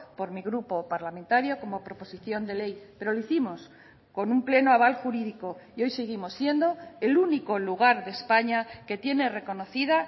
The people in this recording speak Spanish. por mi grupo parlamentario como proposición de ley pero lo hicimos con un pleno aval jurídico y hoy seguimos siendo el único lugar de españa que tiene reconocida